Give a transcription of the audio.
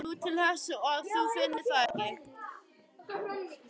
Nú, til þess að þú finnir það ekki.